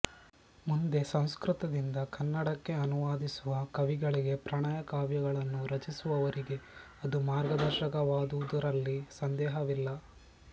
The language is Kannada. ಮುಂದೆ ಸಂಸ್ಕೃತದಿಂದ ಕನ್ನಡಕ್ಕೆ ಅನುವಾದಿಸುವ ಕವಿಗಳಿಗೆ ಪ್ರಣಯ ಕಾವ್ಯಗಳನ್ನು ರಚಿಸುವವರಿಗೆ ಅದು ಮಾರ್ಗದರ್ಶಕವಾದುದರಲ್ಲಿ ಸಂದೇಹವಿಲ್ಲ